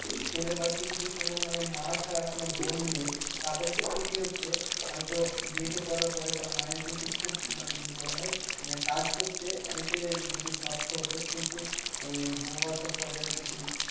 ছেলের বাড়িতে যদি কোনো মানে মা ছাড়া কোনো বোন নেই, তাদের ক্ষেত্রে কি হচ্ছে? হয়তো বিয়েটা করার পরে তার মায়ের কিন্তু খুব মানে যদি বলা হয় মানে কাজ করতে অনেকটাই যদি যদি কষ্ট হতো কিন্তু আহ বৌভাতের পরে হয়তো সেই